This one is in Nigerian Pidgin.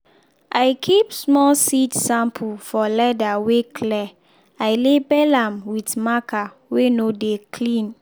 i keep small seed sample for leather wey clear i label am with marker weh no de clean.